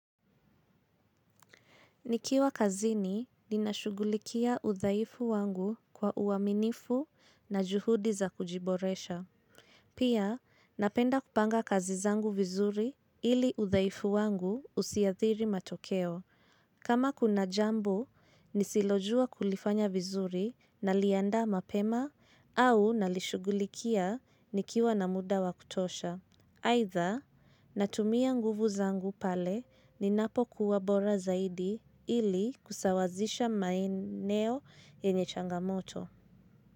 Nikiwa kazini, ninashughulika udhaifu wangu kwa uaminifu na juhudi za kujiboresha. Pia, napenda kupanga kazi zangu vizuri ili udhaifu wangu usiathiri matokeo. Kama kuna jambo, nisilojua kulifanya vizuri naliandaa mapema au nalishughulikia nikiwa na muda wa kutosha. Aidha, natumia nguvu zangu pale ninapokuwa bora zaidi ili kusawazisha maeneo yenye changamoto.